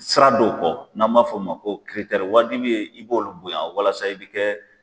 Sira dɔw kɔ n'an m'a fɔ o ma ko waajibi ye i b'olu bonya walasa i bɛ kɛ